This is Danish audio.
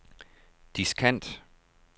diskant